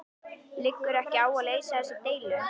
Liggur ekki á að leysa þessa deilu?